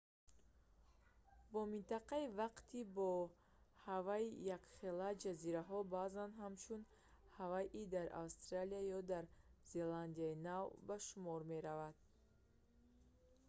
бо минтақаи вақти бо ҳавайи якхела ҷазираҳо баъзан ҳамчун «ҳавайи дар австралия ё дар зеландияи нав» ба шумор мераванд